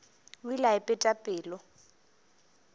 o ile a ipeta pelo